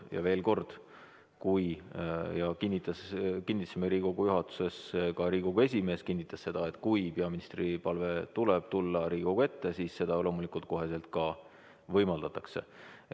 Ja veel kord kinnitasime Riigikogu juhatuses, ka Riigikogu esimees kinnitas seda, et kui tuleb peaministri palve tulla Riigikogu ette, siis seda loomulikult kohe ka võimaldatakse.